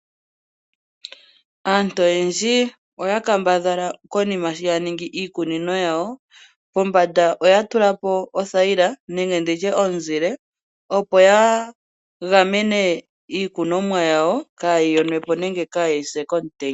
Aantu oyendji oya kambadhala konima sho ya ningi iikunino yawo pombanda oya tulapo othayila nenge ndi tye omuzile opo ya gamene iikunwamo yawo kaayi yonwepo nenge kaayi sepo komutenya.